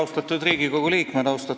Austatud Riigikogu liikmed!